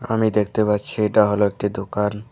আমি দেখতে পাচ্ছি এটা হল একটি দোকান।